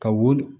Ka wo